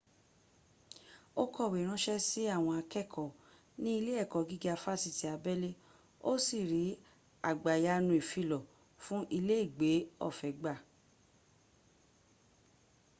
ó kọ̀wé ránṣẹ́ sí àwọn àkẹ́ẹ̀kọ́ ní ilé ẹ̀kọ́ gíga fásitì abẹ́lé ó sì rí àgbàyanu ìfilọ̀ fún iléègbé ọ̀fẹ́ gbà